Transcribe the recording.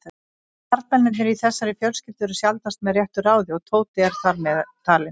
Karlmennirnir í þessari fjölskyldu eru sjaldnast með réttu ráði og Tóti er þar meðtalinn.